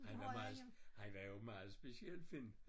Han var meget han var jo meget speciel Finn